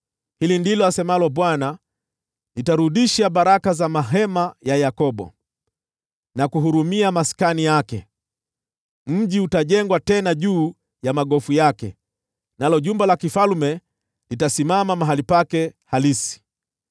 “Hili ndilo asemalo Bwana :“ ‘Nitarudisha baraka za mahema ya Yakobo, na kuhurumia maskani yake. Mji utajengwa tena juu ya magofu yake, nalo jumba la kifalme litasimama mahali pake halisi.